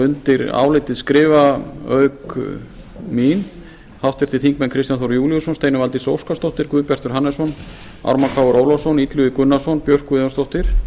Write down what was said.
undir álitið skrifa auk mín háttvirtir þingmenn kristján þór júlíusson steinunn valdís óskarsdóttir guðbjartur hannesson ármann krónu ólafsson illugi gunnarsson björk guðjónsdóttir